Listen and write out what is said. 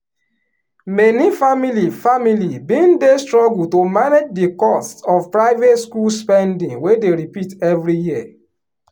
many family family bin dey struggle to manage di costs of private schools spendingwey dey repeat every year.